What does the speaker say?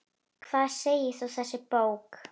Hvað segir þá þessi bók?